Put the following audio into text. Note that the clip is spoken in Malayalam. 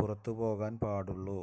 പുറത്ത് പോകാന് പാടുള്ളൂ